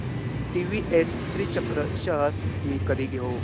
TVS Srichakra shares मी कधी घेऊ